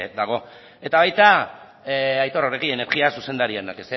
dago eta baita aitor oregi energia zuzendariak